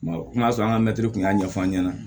O n'a sɔrɔ an ka mɛtiriw kun y'a ɲɛfɔ an ɲɛna